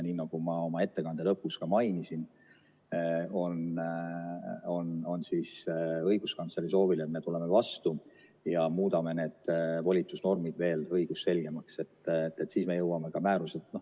Nii nagu ma oma ettekande lõpus ka mainisin, õiguskantsleri soovile me tuleme vastu ja muudame need volitusnormid veel õigusselgemaks.